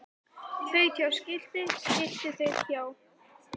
Þaut hjá skilti skilti þaut hjá